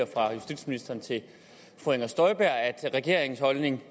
fra justitsministeren til fru inger støjberg at regeringens holdning